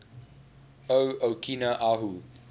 o okina ahu